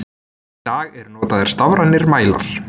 Í dag eru notaðir stafrænir mælar.